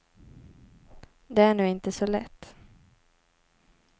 Det är nu inte så lätt.